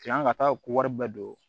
Yan ka taa ko wari bɛɛ don